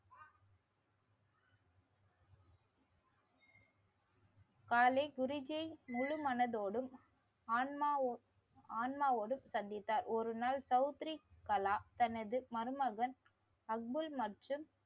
காலே குருஜீ முழு மனதோடும் ஆன்மாவோடும் சந்தித்தார். ஒரு நாள் தௌத்ரி கலா தனது மருமகன் அக்புல் மற்றும்